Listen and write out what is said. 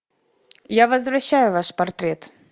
я возвращаю ваш портрет